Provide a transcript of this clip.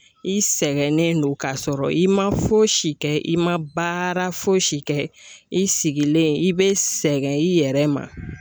I sɛgɛnnen don ka sɔrɔ i ma fosi kɛ i ma baara fosi kɛ, i sigilen i be sɛgɛn i yɛrɛ ma.